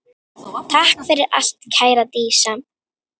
Takk fyrir allt kæra Dísa.